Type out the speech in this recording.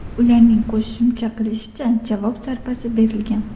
Ularning qo‘shimcha qilishicha, javob zarbasi berilgan.